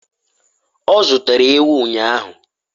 ọ zụtara ewu ụnyahụ?